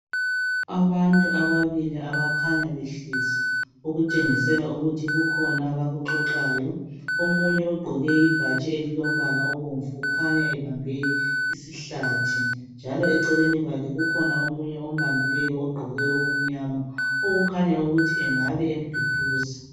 abantu ababili abakhanya behlezi okutshengisela ukuthi kukhona abakuxoxayo omunye ugqoke ibhatshi elilombala obomvu ukhanya ebambe isihlathi njalo eceleni kwakhe kukhona omunye ombambileyo ogqoke okumnyama okukhanya ukuthi engabe emduduza